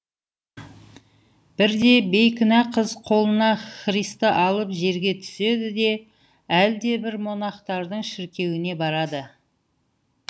бірде бейкүнә қыз қолына христі алып жерге түседі де әлдебір монахтардың шіркеуіне барады